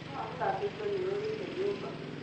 Thabuni wa gũthambia indo nĩ ũrĩire nyũmba